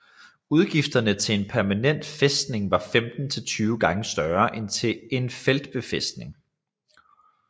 Udgifterne til en permanent fæstning var 15 til 20 gange større end til en feltbefæstning